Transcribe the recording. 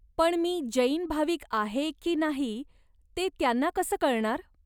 पण मी जैन भाविक आहे की नाही ते त्यांना कसं कळणार ?